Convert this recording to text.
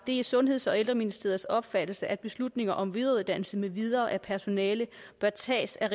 det er sundheds og ældreministeriets opfattelse at beslutninger om videreuddannelse med videre af personale bør tages af